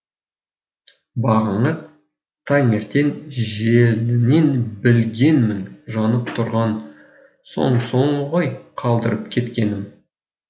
бағана таңертең желінінен білгенмін жанып тұрған сонсоң ғой қалдырып кеткенім